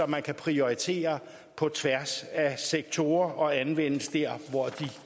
man kan prioritere på tværs af sektorer og anvende der hvor de